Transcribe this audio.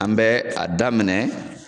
An bɛ a daminɛ